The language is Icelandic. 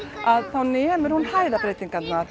þá nemur hún